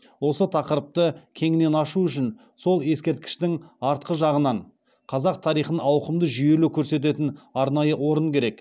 осы тақырыпты кеңінен ашу үшін сол ескерткіштің артқы жағынан қазақ тарихын ауқымды жүйелі көрсететін арнайы орын керек